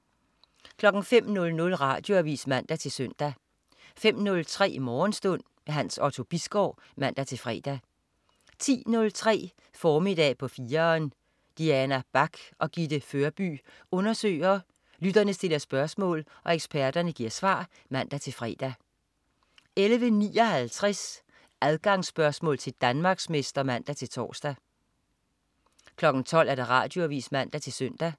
05.00 Radioavis (man-søn) 05.03 Morgenstund. Hans Otto Bisgaard (man-fre) 10.03 Formiddag på 4'eren. Diana Bach og Gitte Førby undersøger, lytterne stiller spørgsmål og eksperterne giver svar (man-fre) 11.59 Adgangsspørgsmål til Danmarksmester (man-tors) 12.00 Radioavis (man-søn)